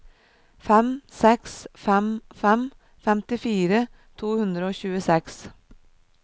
fem seks fem fem femtifire to hundre og tjueseks